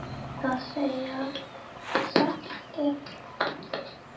Gerðu það, Sunna!